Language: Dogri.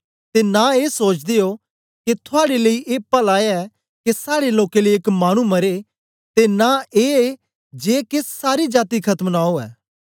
ते न ए सोचदे ओ के थुआड़े लेई ए पला ऐ के साड़े लोकें लेई एक मानु मरे ते नां ए जे के सारी जाती खत्म न उवै